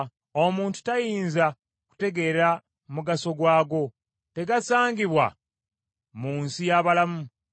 Omuntu tayinza kutegeera mugaso gwago; tegasangibwa mu nsi y’abalamu.